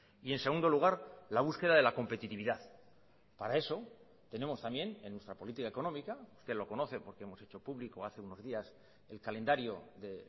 y en segundo lugar la búsqueda de la competitividad para eso tenemos también en nuestra política económica usted lo conoce porque hemos hecho público hace unos días el calendario de